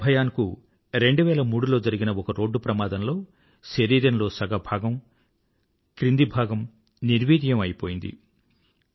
ఏక్తా భయాన్ కు 2003లో జరిగిన ఒక రోడ్డు ప్రమాదంలో శరీరంలో సగ భాగం క్రింది భాగం నిర్వీర్యం అయిపోయింది